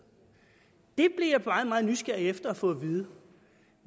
jeg bliver meget meget nysgerrig efter at få at vide